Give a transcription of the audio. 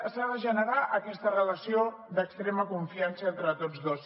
s’ha de generar aquesta relació d’extrema confiança entre tots dos